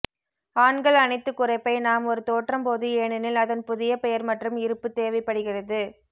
ஆண்கள் அனைத்து குறைப்பை நாம் ஒரு தோற்றம் போது ஏனெனில் அதன் புதிய பெயர் மற்றும் இருப்பு தேவைப்படுகிறது